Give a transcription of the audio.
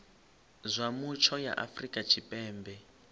zwa mutsho ya afrika tshipembe